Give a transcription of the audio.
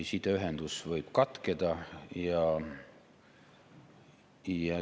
Sideühendus võib katkeda.